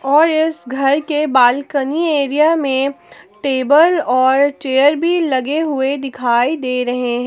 और इस घर के बालकनी एरिया में टेबल और चेयर भी लगे हुए दिखाई दे रहे हैं।